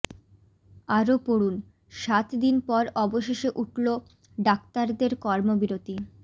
আরও পড়ুন সাত দিন পর অবশেষে উঠল ডাক্তারদের কর্মবিরতি